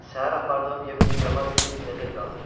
Səhər apardığım yem necə var idi, elə də qalır.